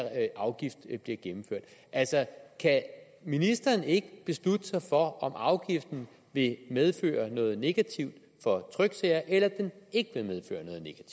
afgift bliver gennemført altså kan ministeren ikke beslutte sig for om afgiften vil medføre noget negativt for tryksager eller om den ikke vil medføre